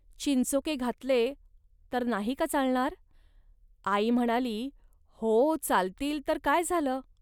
चिंचोके घातले, तर नाही का चालणार. आई म्हणाली, "हो, चालतील तर काय झालं